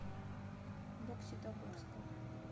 бокситогорском